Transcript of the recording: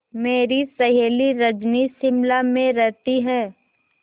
मेरी सहेली रजनी शिमला में रहती है